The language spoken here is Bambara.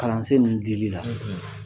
Kalansen ninnu dili la.